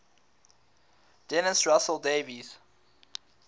dennis russell davies